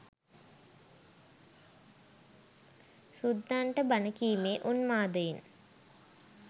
සුද්දන්ට බණ කීමේ උන්මාදයෙන්